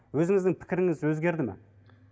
өзіңіздің пікіріңіз өзгерді ме